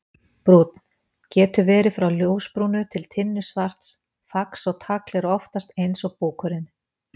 Brúnn: Getur verið frá ljósbrúnu til tinnusvarts, fax og tagl eru oftast eins og búkurinn.